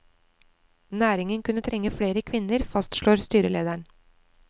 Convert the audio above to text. Næringen kunne trenge flere kvinner, fastslår styrelederen.